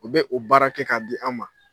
U bɛ u baara kɛ k'a di an ma